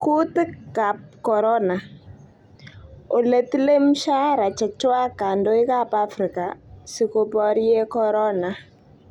Kutiik ab corona: Ole tile mshahara chechwak kandoik ab Afrika siko baryee Corona